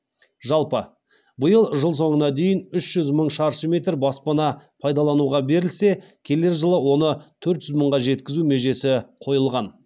жалпы биыл жыл соңына дейін үш жүз мың шаршы метр баспана пайдалануға берілсе келер жылы оны төрт жүз мыңға жеткізу межесі қойылған